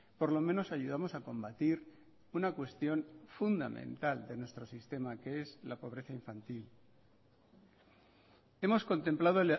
por lo menos ayudamos a combatir una cuestión fundamental de nuestro sistema que es la pobreza infantil hemos contemplado